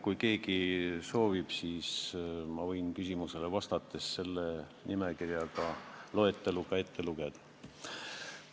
Kui keegi soovib, siis ma võin küsimusele vastates selle loetelu ette lugeda.